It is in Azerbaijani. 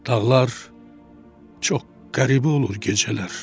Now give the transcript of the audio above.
Dağlar çox qəribə olur gecələr.